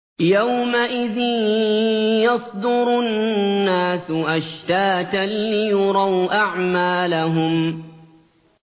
يَوْمَئِذٍ يَصْدُرُ النَّاسُ أَشْتَاتًا لِّيُرَوْا أَعْمَالَهُمْ